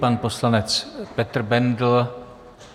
Pan poslanec Petr Bendl.